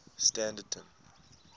standerton